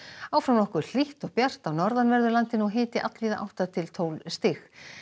áfram nokkuð hlýtt og bjart á norðanverðu landinu og hiti allvíða átta til tólf stig